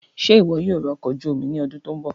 Ṣe iwọ yoo ra ọkọ̀ ojuú omi ni ọdun to nbọ?